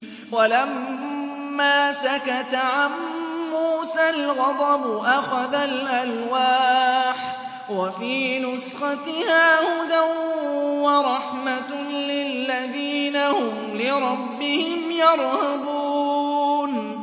وَلَمَّا سَكَتَ عَن مُّوسَى الْغَضَبُ أَخَذَ الْأَلْوَاحَ ۖ وَفِي نُسْخَتِهَا هُدًى وَرَحْمَةٌ لِّلَّذِينَ هُمْ لِرَبِّهِمْ يَرْهَبُونَ